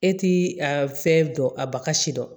E t'i a fɛn dɔn a baga si dɔn